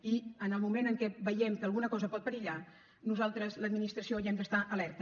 i en el moment en què veiem que alguna cosa pot perillar nosaltres l’administració hi hem d’estar alerta